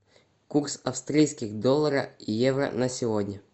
курс австрийских доллара евро на сегодня